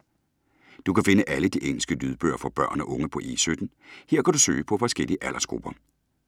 Du kan finde alle de engelske lydbøger for børn og unge på E17. Her kan du søge på forskellige aldersgrupper.